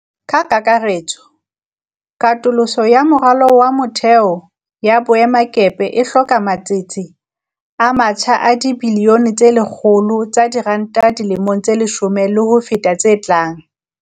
Ka kakaretso, katoloso ya moralo wa motheo ya boemakepe e hloka matsete a matjha a dibiliyone tse 100 tsa diranta dilemong tse leshome le ho feta tse tlang.